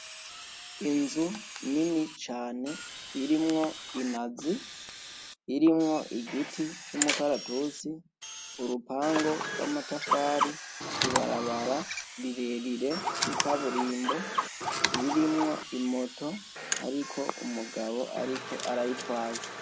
Inzu nini cane irimwo inazi, irimwo igiti c'umukaratusi, urupangu gw'amatafari, ibarabara rirerire, ikaburimbo ririmwo imoto iriko umugabo ariko arayitazwa.